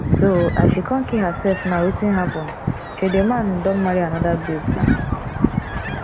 so as she come kee herself now wetin happen shey the man don marry another babe now